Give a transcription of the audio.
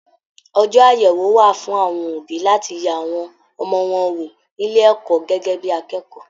Ọjọ àyẹwò wà fún àwọn òbí láti yẹ awọn ọmọ wọn wo nílé ẹ̀kọ́ gẹgẹ bíi akẹ́kọ̀ọ́.